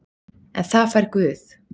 En það fær Guð.